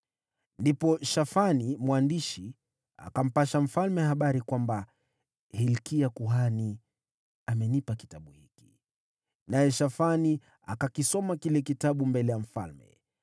Ndipo Shafani mwandishi akampasha mfalme habari kwamba: “Hilkia kuhani amenipa kitabu hiki.” Naye Shafani akakisoma kile kitabu mbele ya mfalme.